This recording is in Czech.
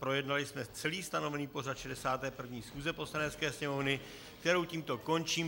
Projednali jsme celý stanovený pořad 61. schůze Poslanecké sněmovny, kterou tímto končím.